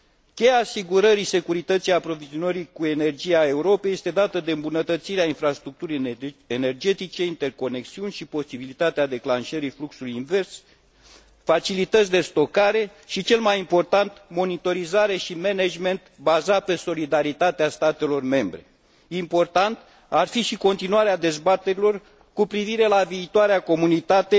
Cheia asigurării securității aprovizionării cu energie a Europei este dată de îmbunătățirea infrastructurii energetice, interconexiuni și posibilitatea declanșării fluxului invers, facilități de stocare, și cel mai important, monitorizare și management bazat pe solidaritatea statelor membre. Important ar fi și continuarea dezbaterilor cu privire la viitoarea comunitate